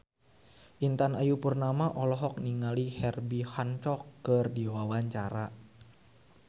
Intan Ayu Purnama olohok ningali Herbie Hancock keur diwawancara